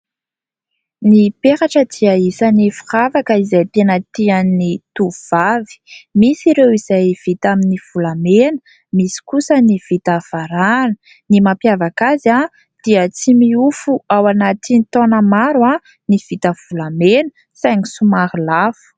Ny peratra dia anisany firavaka izay tena tian'ny tovovavy ; misy ireo izay vita amin'ny volamena, misy kosa ny vita varahana. Ny mampiavaka azy dia tsy miofo ao anatiny taona maro ny vita volamena saingy somaro lafo.